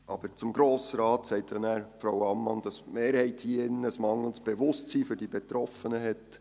Aber zum Grossen Rat sagt ja nachher Frau Ammann, dass die Mehrheit hier in diesem Saal ein mangelndes Bewusstsein für die Betroffenen hat.